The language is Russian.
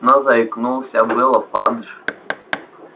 но заикнулся было фадж